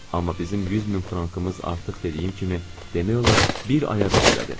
Amma bizim 100 min frankımız artıq dediyim kimi demək olar bir aya bəs elədi.